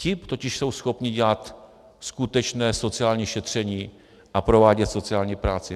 Ti totiž jsou schopni dělat skutečné sociální šetření a provádět sociální práci.